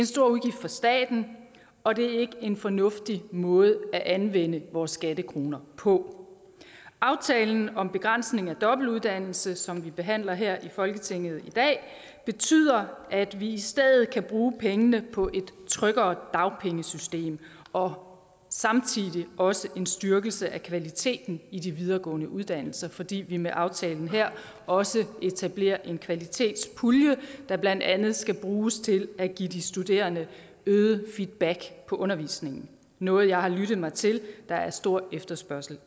stor udgift for staten og det er ikke en fornuftig måde at anvende vores skattekroner på aftalen om begrænsning af dobbeltuddannelse som vi behandler her i folketinget i dag betyder at vi i stedet kan bruge pengene på et tryggere dagpengesystem og samtidig også en styrkelse af kvaliteten i de videregående uddannelser fordi vi med aftalen her også etablerer en kvalitetspulje der blandt andet skal bruges til at give de studerende øget feedback på undervisningen noget jeg har lyttet mig til der er stor efterspørgsel